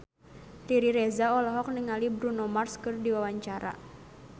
Riri Reza olohok ningali Bruno Mars keur diwawancara